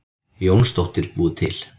Jónsdóttir búið til.